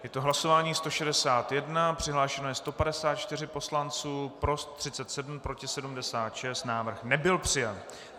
Je to hlasování 161, přihlášeno je 154 poslanců, pro 37, proti 76, návrh nebyl přijat.